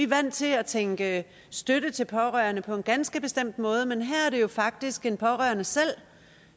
vant til at tænke støtte til pårørende på en ganske bestemt måde men her er det jo faktisk en pårørende selv